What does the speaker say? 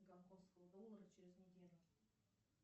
гонконгского доллара через неделю